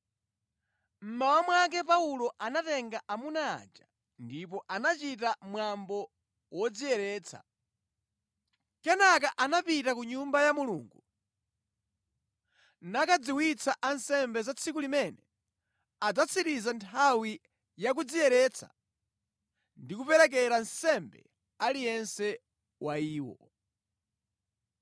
Mmawa mwake Paulo anatenga amuna aja ndipo anachita mwambo wodziyeretsa. Kenaka anapita ku Nyumba ya Mulungu nakadziwitsa ansembe za tsiku limene adzatsiriza nthawi ya kudziyeretsa ndi kuperekera nsembe aliyense wa iwo.